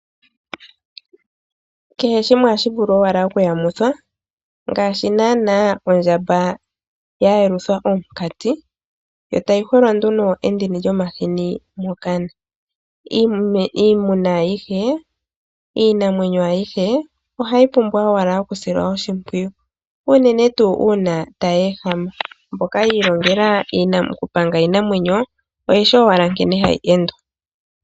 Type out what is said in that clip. Kehe shimwe ohashi vulu owala okuyamithwa ngaashi naanaa ondjamba ya yelutha omukati e ta yi hwelwa nduno endini lyomahini mokana. Iinamwenyo ayihe ohayi pumbwa owala okusilwa oshimpwiyu unene tuu ngele tayi ehama. Mboka yi ilongela okupanga iinamwenyo oyeshi owala nkene hayi endwa.